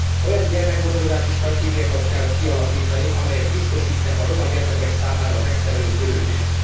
Olyan gyermekgondozási stratégiákat kell kialakítani, amelyek biztosítják a roma gyermekek számára a megfelelő törődést.